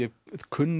kunni